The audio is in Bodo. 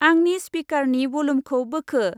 आंनि स्पिकारनि भलुमखौ बोखो।